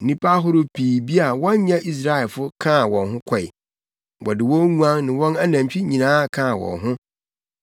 Nnipa ahorow pii bi a wɔnyɛ Israelfo kaa wɔn ho kɔe. Wɔde wɔn nguan ne wɔn anantwi nyinaa kaa wɔn ho.